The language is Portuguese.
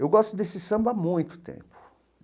Eu gosto desse samba há muito tempo.